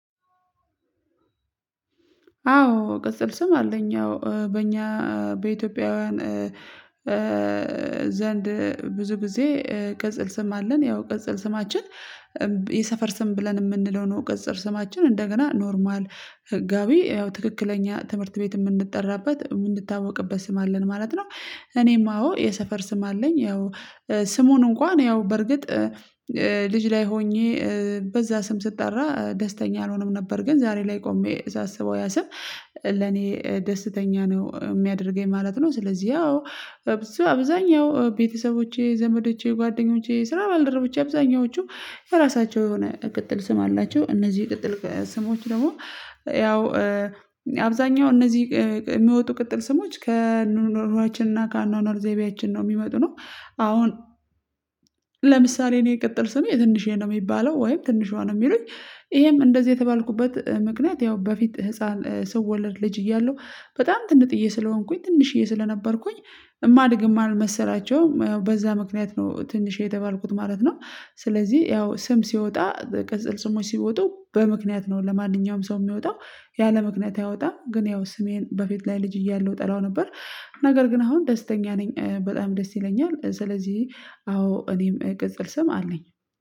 አዎ ቅጸል ስም አለኝ ያው በእኛ በኢትዮጵያውያን ዘንድ ብዙ ጊዜ ቅጽል ስም አለን ያው ቅጽል ስማችን የሰፈር ስም ብለን የምንለው ነው ቅጽል ስማችን እንደገና ኖርማል ህጋዊ ያው ትክክለኛ ትምህርት ቤት የምንጠራበት የምንታወቅበት ስም አለን ማለት ነው። እኔም አዎ የሰፈር ስም አለኝ ያው ስሙን እንኳን ያው በርግጥ ልጅ ላይ ሆኜ በዛ ስም ስጠራ ደስተኛ አልሆነም ነበር ግን ዛሬ ላይ ቆሜ ሳስበው ያ ስም ለኔ ደስተኛ ነው የሚያደርገኝ ማለት ነው። ስለዚህ ያው አብዛኛው ቤተሰቦቼ ዘመዶቼ ጓደኞቼ ስራ ባልደረቦቼ አብዛኛዎቹ የራሳቸው የሆነ ቅጥል ስም አላቸው እነዚህ ቅጥል ስሞች ደግሞ ያው አብዛኛው እነዚህ የሚወጡ ቅጥል ስሞች ከኑኖራችንና ከአኗኗር ዘይቤያችን ነው የሚመጡ ነው። አሁን ለምሳሌ እኔ የቅጥል ስሜ ትንሽዬ ነው የሚባለው ወይም ትንሿ ነው የሚሉኝ። ይሄም እንደዚህ የተባልኩበት ምክንያት ያው በፊት ህፃን ሰው ወለድ ልጅ እያለሁ በጣም ትንጥዬ ስለሆንኩኝ ትንሽዬ ስለነበርኩኝ እማድግም እማልመሰላቸው በዛ ምክንያት ነው ትንሽ የተባልኩት ማለት ነው። ስለዚህ ያው ስም ሲወጣ ቅጽል ስሞች ሲወጡ በምክንያት ነው ለማንኛውም ሰው የሚወጣው ያለምክንያት አይወጣም ግን ያው ስሜን በፊት ላይ ልጅ እያለሁ ጠላው ነበር። ነገር ግን አሁን ደስተኛ ነኝ በጣም ደስ ይለኛል ስለዚህ አዎ እኔም ገጽል ስም አለኝ